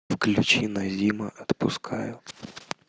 включи назима отпускаю